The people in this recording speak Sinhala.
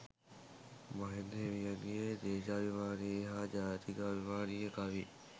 මහින්ද හිමියන්ගේ දේශාභිමානී හා ජාතිකාභිමානී කවි